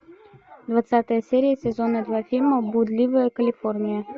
двадцатая серия сезона два фильма блудливая калифорния